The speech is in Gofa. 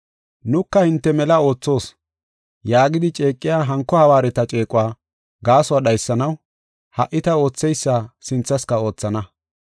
“Nuka hinte mela oothoos” yaagidi ceeqiya hanko hawaareta ceequwa gaasuwa dhaysanaw ha77i ta ootheysa sinthaska oothana.